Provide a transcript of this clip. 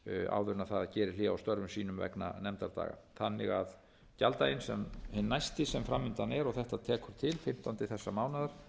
áður en það gerir hlé á störfum sínum vegna nefndadaga þannig að gjalddaginn hinn næsti sem fram undan er og þetta tekur til fimmtánda þessa